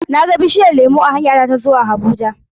na ga bishiyar lemu a hanyata ta zuwa Abuja.